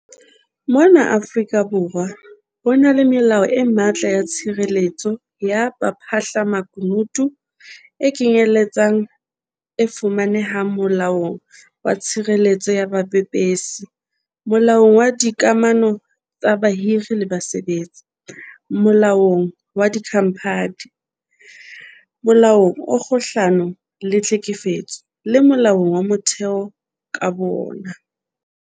Mona Afrika Borwa ho na le melao e matla ya tshireletso ya baphahlamakunutu, e kenyeletsang e fumanehang Molaong wa Tshireletso ya Bapepesi, Molaong wa Dika mano tsa Bahiri le Basebetsi, Molaong wa Dikhamphani, Molaong o Kgahlano le Tlhekefetso, le Molaong wa Motheo ka bowona.